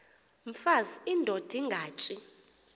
mfaz indod ingaty